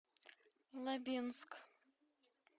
лабинск